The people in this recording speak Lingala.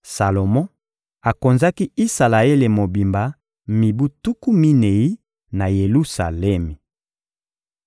Salomo akonzaki Isalaele mobimba mibu tuku minei, na Yelusalemi.